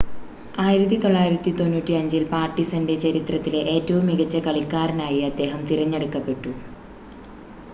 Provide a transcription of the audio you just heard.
1995-ൽ പാർടിസൻ്റെ ചരിത്രത്തിലെ ഏറ്റവും മികച്ച കളിക്കാരനായി അദ്ദേഹം തിരഞ്ഞെടുക്കപ്പെട്ടു